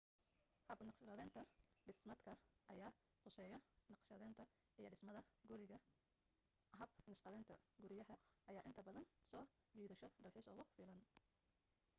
hab naqshadaynta dhismeedka ayaa khuseeyo naqshadaynta iyo dhismada guriyaha hab naqshadaynta guriyaha ayaa inta badan soo jiidasho dalxiis ugu filan